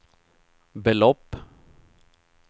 belopp